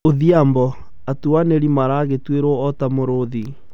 Odhiambo: 'atuanĩri maragitĩrũo o ta mũrũũthi.'